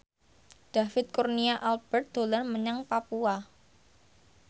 David Kurnia Albert dolan menyang Papua